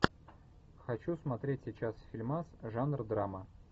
хочу смотреть сейчас фильмас жанр драма